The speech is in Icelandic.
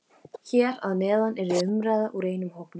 Hér að neðan er umræða úr einum hópnum: